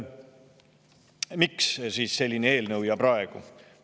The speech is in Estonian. Miks selline eelnõu, ja praegu?